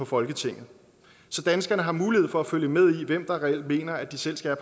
folketinget så danskerne har mulighed for at følge med i hvem der reelt mener at de selv skal